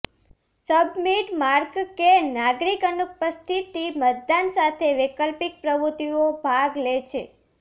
submit mark કે નાગરિક અનુપસ્થિતિ મતદાન સાથે વૈકલ્પિક પ્રવૃત્તિઓ ભાગ લે છે